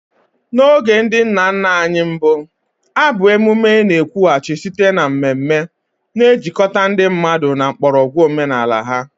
N'oge ndị nna nna anyị mbụ, abụ emume na-ekwughachi site na mmeme, na-ejikọta ndị mmadụ na mgbọrọgwụ omenala ha.